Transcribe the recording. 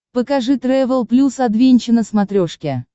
покажи трэвел плюс адвенча на смотрешке